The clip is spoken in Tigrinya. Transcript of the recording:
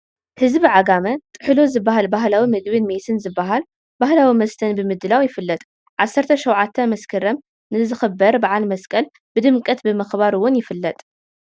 ህዝቢ ዓጋመ ጥህሎ ዝበሃል ባህላዊ ምግብን ሜስ ዝበሃል ባህላዊ መስተን ብምድላው ይፍለጥ፡፡ ዓሰርተ ሸውዓተ መስከረም ንዝኽበር በዓል መስቀል ብድምቀት ብምኽባር እውን ይፍለጥ፡፡